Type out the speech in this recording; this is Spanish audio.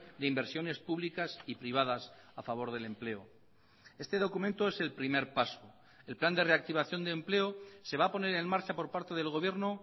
de inversiones públicas y privadas a favor del empleo este documento es el primer paso el plan de reactivación de empleo se va a poner en marcha por parte del gobierno